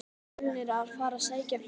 Er Fjölnir að fara að sækja fleiri stig?